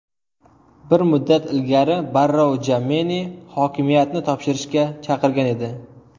Bir muddat ilgari Barrou Jammeni hokimiyatni topshirishga chaqirgan edi .